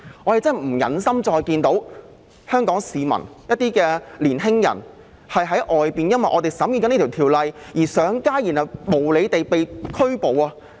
我們真的不忍心再看到香港市民及一些青年人因為我們現時審議這項《條例草案》而上街，最後被無理拘捕。